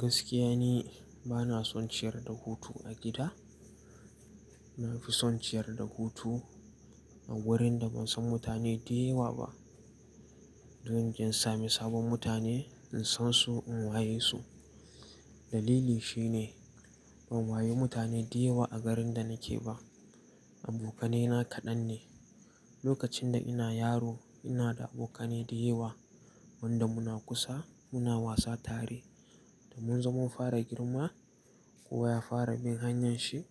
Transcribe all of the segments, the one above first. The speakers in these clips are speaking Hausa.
Gaskiya ne bana son ciyar da hutu a gida. Na fi son ciyar da hutu a wurin da ban san mutane da yawa ba. Don nje samu sabon mutane, in san su, in waye su. Dalili shine ban waye mutane da yawa a garin da nake ba. Abokanai na kaɗan ne. Lokacin da ina yaro ina da abokanai da yawa wanda muna kusa muna wasa tare. Da mun zo mun fara girma kowa ya fara bin hanyar shi.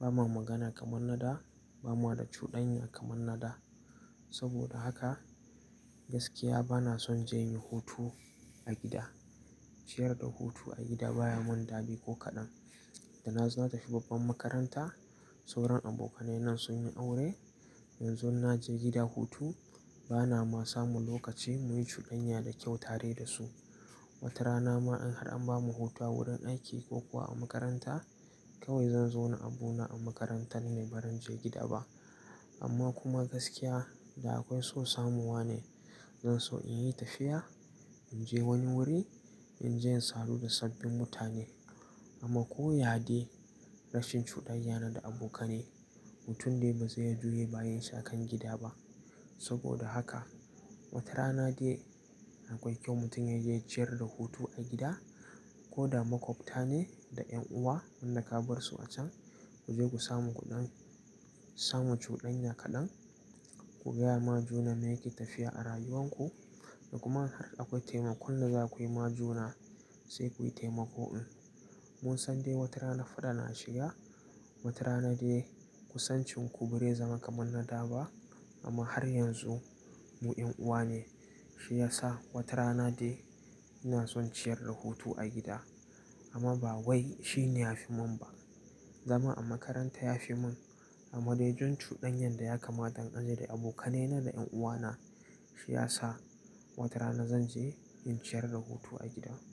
Ba ma magana kamar na da, ba ma da cudanya kamar na da. Saboda haka gaskiya bana son je yin hutu a gida. Ciyar da hutu a gida baya mun dadi ko kaɗan. Da na zo na tafi babban makaranta, sauran abokanai na sun yi aure. Yanzu in naje gida hutu bana ma samu lokaci muyi cudanya da kyau tare da su. Wata rana ma in har an bamu hutu a wurin aiki ko kuwa a makaranta kawai zan zo na abuna a makaranta ne baran je gida ba. Amma kuma gaskiya da akwai so samuwa ne. Zan so in yi tafiya, in je wani wuri, in je in sadu da sabbin mutane. Amma ko ya dai rashin cudanyana da abokanai mutum dai ba zai iya juya baya shi akan gida ba. Saboda haka wata rana dai akwai kyau mutum ya je ciyar da hutu a gida ko da makwabta ne da ƴan uwa wanda ka bar su a can kuje ku samu kuɗan-- samu cudanya kaɗan. Ku gaya ma juna me yake tafiya a rayuwar ku da kuma in har akwai taimako wanda za ku yi ma juna sai kuyi taimako in. Mun san dai wata rana faɗa na shiga, wata rana dai kusancin ku barai zama kamar na da ba. Amma har yanzu mu ƴan uwa ne. Shi ya sa wata rana dai ina son ciyar da hutu a gida amma ba wai shi ne ya fi mun ba. Zama a makaranta ya fi mun. Amma dai don cudanyar da ya kama don aji da abokanai na da ƴan uwa na shi ya sa wata rana zan je in ciyar da hutu a gida.